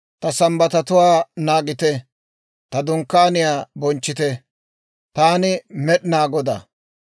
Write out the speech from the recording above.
Ta Sambbatatuwaa naagite; ta Dunkkaaniyaa bonchchite; Taani Med'inaa Godaa.